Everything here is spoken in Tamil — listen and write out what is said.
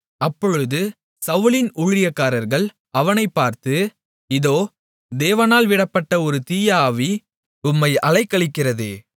அப்பொழுது சவுலின் ஊழியக்காரர்கள் அவனை பார்த்து இதோ தேவனால் விடப்பட்ட ஒரு தீய ஆவி உம்மை அலைக்கழிக்கிறதே